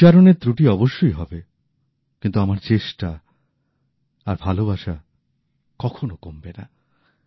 উচ্চারণের ত্রুটি অবশ্যই হবে কিন্তু আমার চেষ্টা আর ভালবাসা কখনো কমবে না